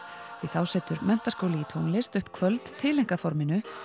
því þá setur Menntaskóli í tónlist upp kvöld tileinkað forminu